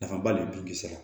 Nafaba de b'u kisɛ ma